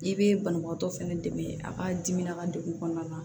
I bɛ banabaatɔ fɛnɛ dɛmɛ a ka dimina a ka degun kɔnɔna na